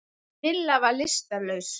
En Milla var lystarlaus.